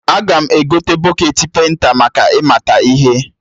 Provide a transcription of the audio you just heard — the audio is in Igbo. Aga m egote bọketị penta maka ị mata ihe